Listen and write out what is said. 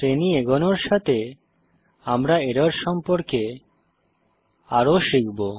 শ্রেণী এগোনোর সাথে আমরা এরর সম্পর্কে আরও শিখবো